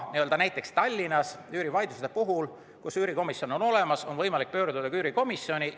Näiteks Tallinnas on üürikomisjon olemas ja üürivaidluste puhul on võimalik pöörduda üürikomisjoni poole.